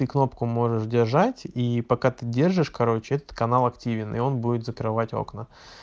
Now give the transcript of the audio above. и кнопку можешь держать и пока ты держишь короче этот канал активен и он будет закрывать окна